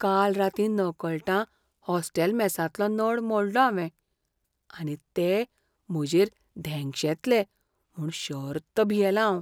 काल रातीं नकळटां हॉस्टेल मेसांतलो नळ मोडलो हांवें आनी ते म्हजेर धेंगशेतले म्हूण थर्त भियेलां हांव.